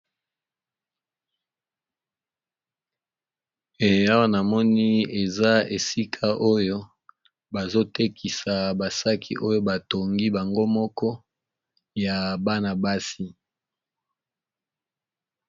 Awa namoni eza esika oyo bazotekisa ba sac oyo batongi bango moko ya bana basi.